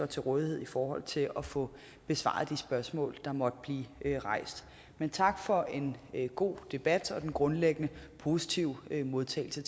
til rådighed i forhold til at få besvaret de spørgsmål der måtte blive rejst men tak for en god debat og den grundlæggende positive modtagelse